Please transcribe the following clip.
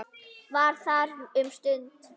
Var þar um stund.